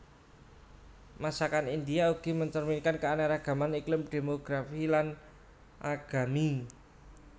Masakan India ugi mencerminkan keanekaragaman iklim demografi lan agami